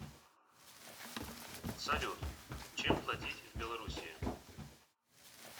салют чем платить в белоруссии